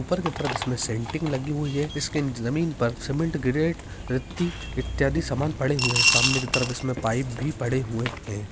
उप्पर के तरफ इसमें सेंट्रिंग लगी हुवी है। इसके निचे जमीन पर सीमेंट ग्रेनाइट रति इत्यादि पड़े हुवे है। सामने के तरफ इसमें पाइप भी पड़े हुवे है।